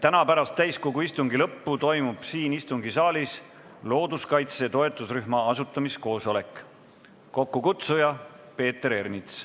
Täna pärast täiskogu istungi lõppu toimub siin istungisaalis looduskaitse toetusrühma asutamise koosolek, kokkukutsuja on Peeter Ernits.